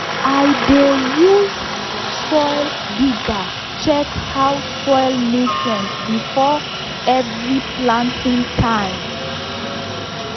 i dey use soil digger check how soil nutrient before every planting time.